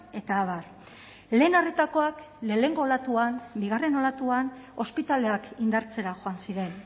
eta abar lehen arretakoak lehenengo olatuan bigarren olatuan ospitaleak indartzera joan ziren